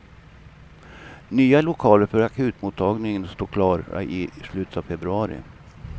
Nya lokaler för akutmottagningen står klara i slutet av februari.